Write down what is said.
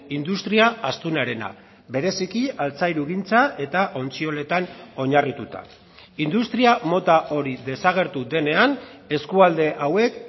industria astunarena bereziki altzairugintza eta ontzioletan oinarrituta industria mota hori desagertu denean eskualde hauek